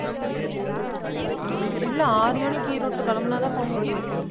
உம் இல்ல ஆறு மணிக்கு ஈரோட்டுல கிளம்பினாதான் போக முடியும்